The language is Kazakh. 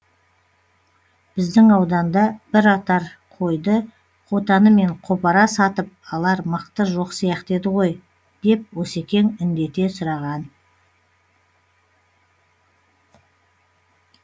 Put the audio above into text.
біздің ауданда бір отар қойды қотанымен қопара сатып алар мықты жоқ сияқты еді ғой деп осекең індете сұраған